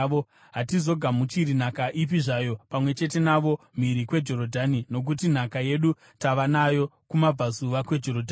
Hatizogamuchiri nhaka ipi zvayo pamwe chete navo mhiri kweJorodhani, nokuti nhaka yedu tava nayo kumabvazuva kweJorodhani.”